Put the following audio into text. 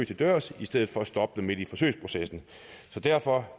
til dørs i stedet for at stoppe dem midt i forsøgsprocessen så derfor